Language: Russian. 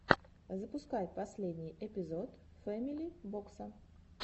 запускай последний эпизод фэмили бокса